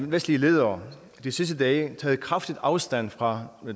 vestlige ledere de sidste dage taget kraftigt afstand fra